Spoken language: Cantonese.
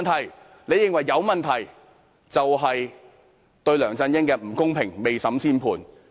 我們認為有問題，便是對梁振英不公平，未審先判。